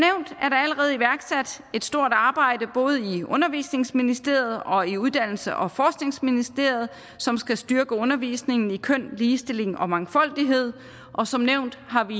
allerede iværksat et stort arbejde både i undervisningsministeriet og i uddannelses og forskningsministeriet som skal styrke undervisningen i køn ligestilling og mangfoldighed og som nævnt har vi